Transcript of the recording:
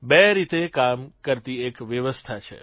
બે રીતે કામ કરતી એક વ્યવસ્થા છે